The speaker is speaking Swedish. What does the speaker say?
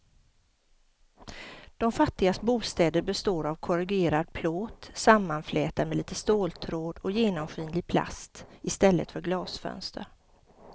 De fattigas bostäder består av korrugerad plåt sammanflätad med lite ståltråd och genomskinlig plast i stället för glasfönster.